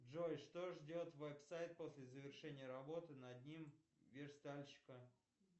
джой что ждет веб сайт после завершения работы над ним верстальщика